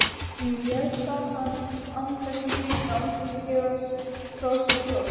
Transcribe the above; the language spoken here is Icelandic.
Hún réðst á hann án þess að hika, án þess að gefa frá sér hljóð.